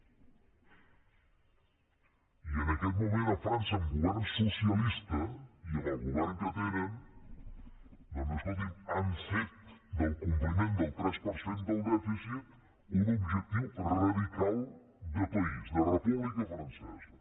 i en aquest moment a frança amb govern socialista i amb el govern que tenen doncs escolti’m han fet del compliment del tres per cent del dèficit un objectiu radical de país de república francesa